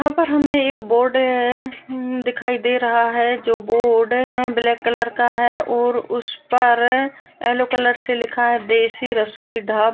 यहां पर हमें एक बोर्ड अ- हूं दिखाई दे रहा है जो बोर्ड हैं ब्लैक कलर का है और उस पर-- येलो कलर से लिखा है देशी रसोई ढा--